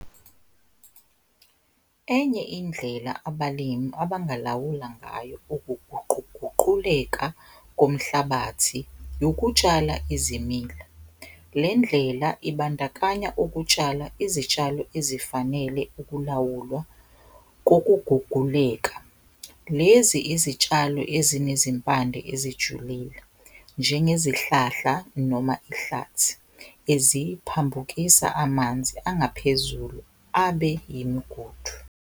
Enye indlela abalimi abangalawula ngayo ukuguquguquleka komhlabathi yokutshala izimila, le ndlela ibandakanya ukutshala izitshalo ezifanele ukulawulwa kokuguguleka. Lezi zitshalo ezinezimpande ezijulile njengezihlahla noma ihlathi eziphambukisa amanzi angaphezulu abe imigudu.